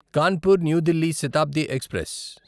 Kanpur new Delhi Shatabdi express